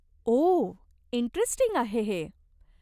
ओह, interesting आहे हे.